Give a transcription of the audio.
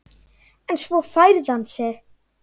En svo færði hann sig.